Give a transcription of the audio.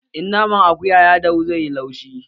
In naman akuya ya dahu zai yi laushi